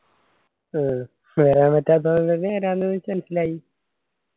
ആ വരാൻ പറ്റാത്തോണ്ട്‌ വെരാണ്ടിന്നെ എനിച്ഛ് മൻസ്‌ലായി